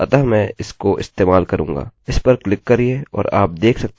इस पर क्लिक करिये और आप देख सकते हैं कि अंदर काफी टेबल्स हैं